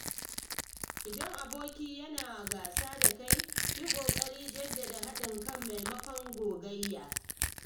Idan aboki yana gasa da kai, yi kokarin jaddada haɗin kai maimakon gogayya.